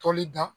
Toli da